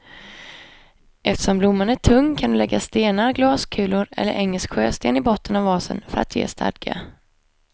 Eftersom blomman är tung kan du lägga stenar, glaskulor eller engelsk sjösten i botten av vasen för att ge stadga.